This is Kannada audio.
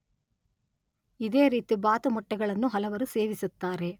ಇದೇ ರೀತಿ ಬಾತು ಮೊಟ್ಟೆಗಳನ್ನು ಹಲವರು ಸೇವಿಸುತ್ತಾರೆ.